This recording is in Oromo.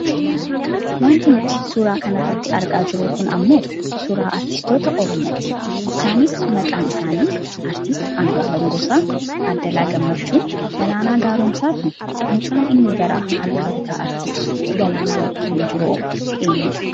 Wanti nuti suuraa kanarratti argaa jirru kun ammoo suuraa aartistoota Oromooti. Isaanit maqaan isaanii Artisti; Andu'aalem Gosaa, Taaddalaa Gammachuu, Galaanaa Gaaromsaa fi mucaan inni gara harka bitaa aartist Galaanaa bukkeen jiruhoo eenyudha?